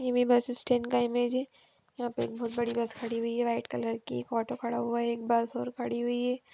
ये bus stand का image है| यहाँ पर बहोत बड़ी बस खड़ी हुई हैं व्हाइट कलर की ऑटो खड़ा हुआ है एक बस और खड़ी हुई है।